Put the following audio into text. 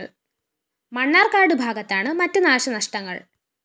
മണ്ണാര്‍ക്കാട് ഭാഗത്താണ് മറ്റ് നാശനഷ്ടങ്ങള്‍്